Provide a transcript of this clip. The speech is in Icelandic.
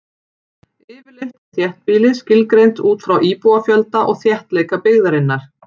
Yfirleitt er þéttbýli skilgreint út frá íbúafjölda og þéttleika byggðarinnar.